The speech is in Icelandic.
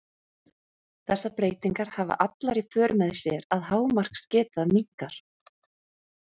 þessar breytingar hafa allar í för með sér að hámarksgeta minnkar